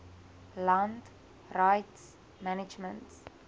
land rights management